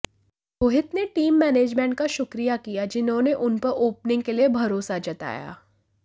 रोहित ने team management का शुक्रिया किया जिन्होंने उनपर ओपनिंग के लिए भरोसा जताया